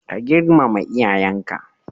Ka girmama iyayenka.